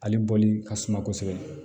Ale bɔli ka suma kosɛbɛ